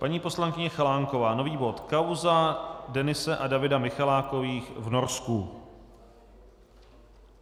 Paní poslankyně Chalánková, nový bod: Kauza Denise a Davida Michalákových v Norsku.